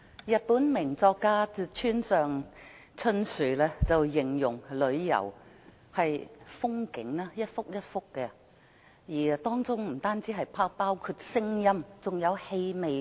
日本名作家村上春樹形容旅遊是一幅幅的風景，當中不僅包括聲音，還有氣味。